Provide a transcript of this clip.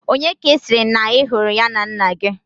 Onye ka i siri na ihuru ya na nna gi?